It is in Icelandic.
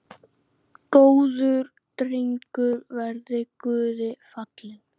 Góður drengur verði Guði falinn.